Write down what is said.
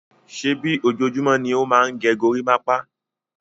Ṣèbí ojoojúmọ́ ni ó máa ń gẹ gorímápá?